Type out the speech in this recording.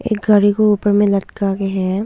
एक गाड़ी को ऊपर में लटका के है।